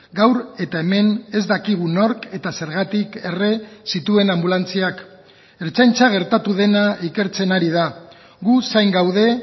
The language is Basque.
gaur eta hemen ez dakigu nork eta zergatik erre zituen anbulantziak ertzaintza gertatu dena ikertzen ari da gu zain gaude